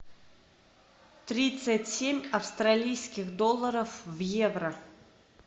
тридцать семь австралийских долларов в евро